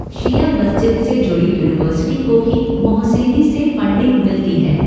शिया मस्जिद से जुड़ी यूनिवर्सिटी को भी मोहसेनी से फ़ंडिंग मिलती है।